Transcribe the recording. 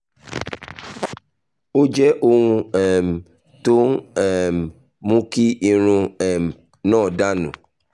ó jẹ́ ohun um tó ń um mú kí irun um náà dà nù